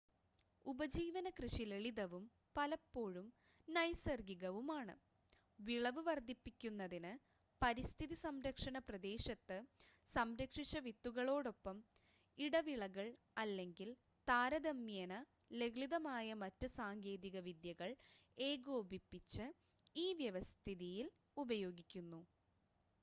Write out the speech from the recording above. ഉപജീവന കൃഷി ലളിതവും പലപ്പോഴും നൈസർഗ്ഗികവുമാണ് വിളവ് വർദ്ധിപ്പിക്കുന്നതിന് പരിസ്ഥിതി സംരക്ഷണ പ്രദേശത്ത് സംരക്ഷിച്ച വിത്തുകളോടൊപ്പം ഇടവിളകൾ അല്ലെങ്കിൽ താരതമ്യേന ലളിതമായ മറ്റ് സാങ്കേതിക വിദ്യകൾ ഏകോപിപ്പിച്ച് ഈ വ്യവസ്ഥിതിയിൽ ഉപയോഗിക്കുന്നു